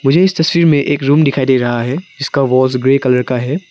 मुझे इस तस्वीर में एक रूम दिखाई दे रहा है इसका वॉल्स ग्रे कलर का है।